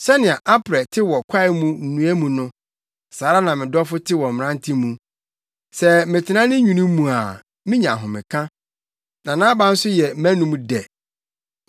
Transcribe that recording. Sɛnea aprɛ te wɔ kwae mu nnua mu no, saa ara na me dɔfo te wɔ mmerante mu. Sɛ metena ne nwini mu a minya ahomeka na nʼaba nso yɛ mʼanom dɛ.